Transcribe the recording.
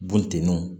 Bunteniw